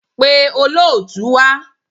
Pe olóòtú wá.